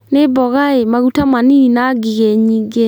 Nĩmboga ĩ maguta manini na ngigi nyingĩ.